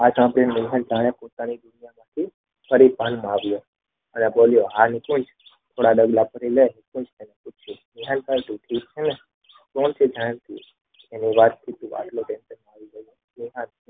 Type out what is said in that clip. જાણે પોતાની સ્થિતિમાંથી ફરી ભાનમાં આવ્યો અને બોલ્યો હા નિકેત થોડા ડગલા ફરી લે